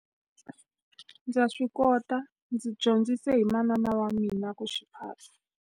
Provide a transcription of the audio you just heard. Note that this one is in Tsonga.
Ndza swi kota ndzi dyondzisile hi manana wa mina ku xi phata.